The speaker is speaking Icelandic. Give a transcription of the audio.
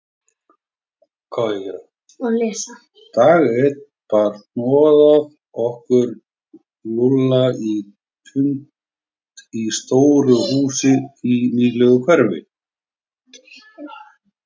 Dag einn bar hnoðað okkur Lúlla á fund í stóru húsi í nýlegu hverfi.